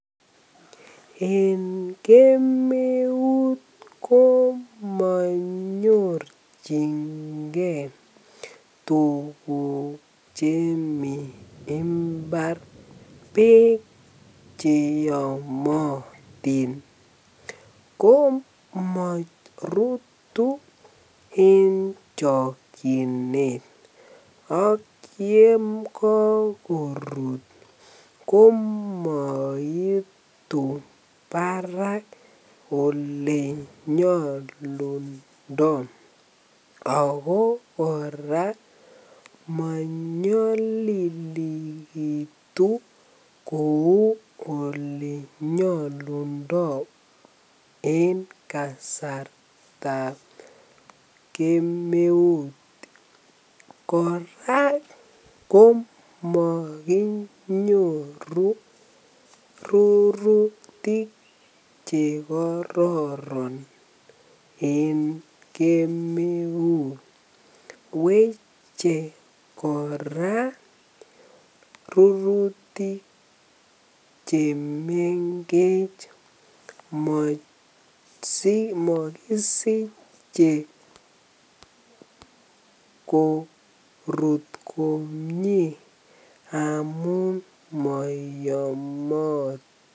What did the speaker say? En kemeut komonyorchinge tukuk chemii imbar beek cheyomotin ko morutu en chokyinet ak yekokorut komoitu barak elenyolundo ak ko kora monyolilekitu kouu olenyolundo en kasartab kemeut kora ko mokinyoru rurutik chekororon en kemeut, weche kora rurutik chemengech mosiche korut komnye amun moyomotin.